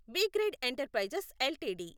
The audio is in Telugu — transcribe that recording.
brigade Enterprises LTD